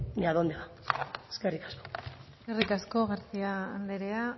a dónde va eskerrik asko eskerrik asko garcía andrea